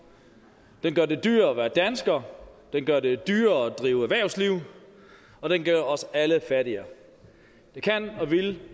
den gør det dyrere at være dansker den gør det dyrere at drive erhvervsliv og den gør os alle fattigere det kan og vil